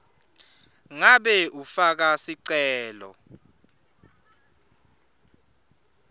ngabe ufaka sicelo